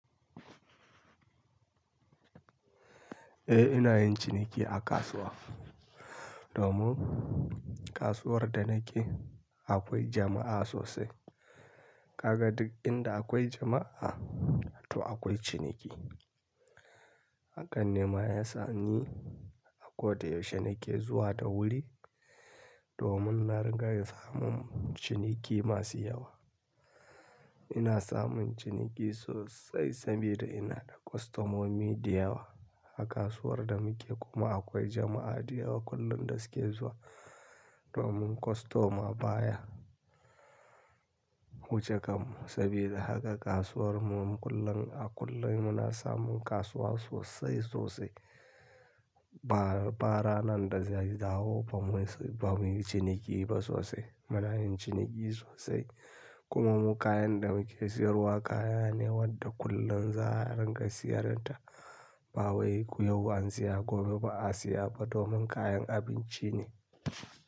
Eh ina yin ciniki a kasuwa. Domin kasuwar da nake akwai jama'a sosai. Kaga duk inda aƙwai jama'a to aƙwai ciniki. Hakanne ma yasa ni a kodayaushe nake zuwa da wuri domin na riga ya samu ciniki masu yawa. Ina samun ciniki sosai sabida ina da kwastomomi da yawa a kasuwar da muke. Kuma akwai jama'a da yawa kullum da suke zuwa domin kwastoma baya wuce kanmu. Sabida haka kasuwarmu mu kullum a kullum muna samun kasuwa sosai sosai. Ba, ba ranar da zai dawo bamu yi ciniki ba sosai. Muna yin ciniki sosai. Kuma mu kayan da muke siyarwa kaya ne wadda kullum za'a ringa siyarinta. Ba wai yau ko yau an siya gobe ba a siya ba domin kayan abinci ne.